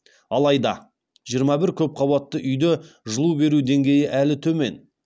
алайда жиырма бір көп қабатты үйде жылу беру деңгейі әлі төмен